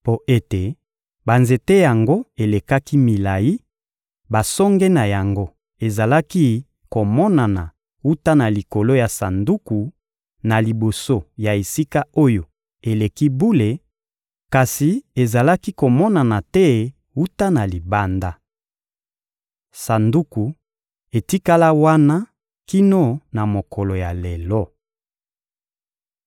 Mpo ete banzete yango elekaki milayi, basonge na yango ezalaki komonana wuta na likolo ya Sanduku, na liboso ya Esika-Oyo-Eleki-Bule; kasi ezalaki komonana te wuta na libanda. Sanduku etikala wana kino na mokolo ya lelo.